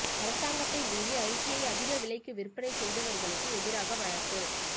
அரசாங்கத்தை மீறி அரிசியை அதிக விலைக்கு விற்பனை செய்தவர்களுக்கு எதிராக வழக்கு